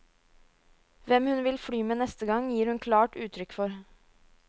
Hvem hun vil fly med neste gang, gir hun klart uttrykk for.